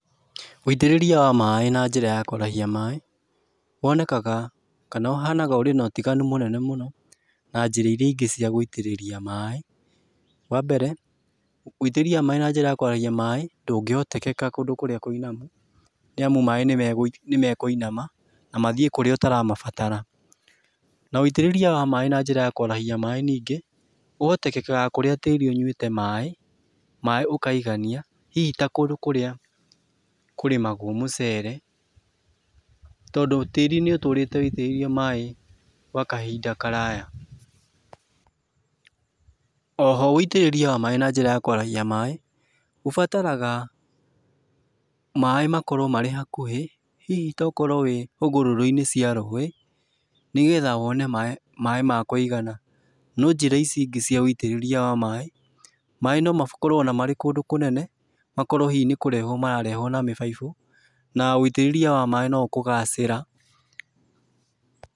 Uitĩrĩria wa maaĩ na njĩra ya kwarahia maaĩ wonekaga kana ũhuanaga ũrĩ na ũtiganu munene mũno, na njĩra iria ingĩ cia gũitĩrĩria maaĩ, wambere, wĩitĩrĩria wa maaĩ na njĩra ya kũarahia maaĩ, ndũngĩhotekeka kũndũ kũria kũinamu nĩamu maaĩ nĩmekũinama na maathie kũria ũtaramabatara, na wĩitĩrĩria wa maaĩ na njĩra ya kũrahia maaĩ ningĩ, ũhotekekaga kũria tĩĩri ũnyuĩte maaĩ, maaĩ ũkaigania hihi ta kũndũ kũria kũrĩmagwo mũcere tondũ tĩĩri nĩũtũrĩte wĩitĩrĩirio maaĩ gwa kahinda karaya, {pause] oho wĩitĩrĩria wa maaĩ na njĩra ya kwarahia maaĩ ũbataraga maaĩ makorwo marĩ hakũhĩ, hihi ta ũkorwo wĩ hũgũrũrũ - inĩ cia rũi, nĩgetha wone maaĩ, maaĩ ma kwĩigana, no njĩra ici ingĩ cia wĩitĩrĩria wa maaĩ, maaĩ no makorwo ona marĩ kũndũ kũnene makorwo hihi ona nĩkũrehwo, mararehwo na mĩbaibo na wĩitĩrĩria wa maaĩ no ũkũgacĩra.